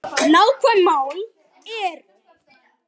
Nákvæm mál eru